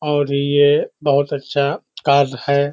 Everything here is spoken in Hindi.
और ये बहुत अच्छा कार्य है।